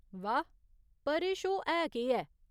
वाह ! पर एह् शो है केह् ऐ ?